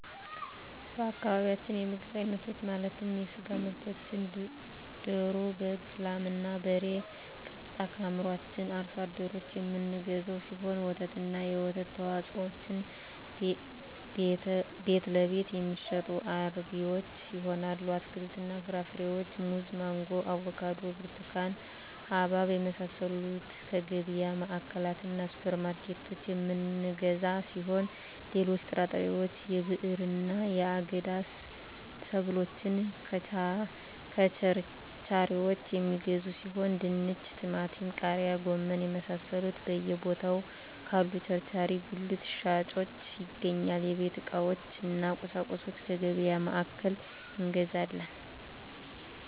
በአካባቢያችን የምግብ አይነቶች ማለትም የስጋ ምርቶችን ደሮ በግ ላም እና በሬ ቀጥታ ከአምራቹ አርሶ አደሮች የምንገዛው ሲሆን ወተትና የወተት ተዋፅኦዎችን ቤትለቤት የሚሸጡ አርቢዎች ይሆናል አትክልትና ፍራፍሬዎችን ሙዝ ማንጎ አቮካዶ ብርቱካን ሀባብ የመሳሰሉትከየገቢያ ማዕከላትእና ሱፐር ማርኬቶች የምንገዛ ሲሆን ሌሎች ጥራጥሬዎች የብዕርና የአገዳ ሰብሎችን ከቸርቻሪዎች የሚገዙ ሲሆን ድንች ቲማቲም ቃሪያ ጎመን የመሳሰሉት በየ ቦታው ካሉ ቸርቻሪ ጉልት ሻጮች ይገኛል የቤት ዕቃዎች እነ ቁሳቁሶች ከገቢያ ማዕከላት እንገዛለን